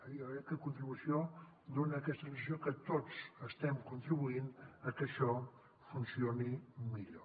jo crec que contribució dona aquesta sensació que tots estem contribuint a que això funcioni millor